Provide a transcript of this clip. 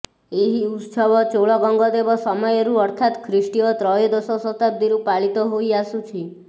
ଏହି ଉତ୍ସବ ଚୋଳ ଗଙ୍ଗଦେବ ସମୟରୁ ଅର୍ଥାତ୍ ଖ୍ରୀଷ୍ଟୀୟ ତ୍ରୟୋଦଶ ଶତାବ୍ଦୀରୁ ପାଳିତ ହୋଇ ଆସୁଅଛି